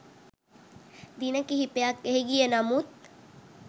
දින කිහිපයක් එහි ගිය නමුත්